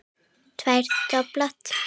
Tvírætt dobl.